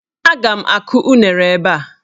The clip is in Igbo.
Aga m akụ unere ebe a.